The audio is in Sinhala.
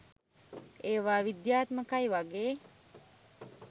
ඒවා විද්‍යාත්මකයි වගේ